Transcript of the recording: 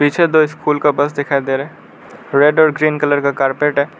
पीछे दो स्कूल का बस दिखाई दे रहा रेड और ग्रीन कलर का कारपेट है।